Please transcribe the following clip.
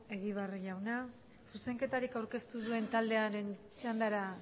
egibar jauna zuzenketarik aurkeztu duen taldearen txandara